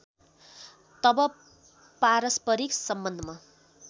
तब पारस्परिक सम्बन्धमा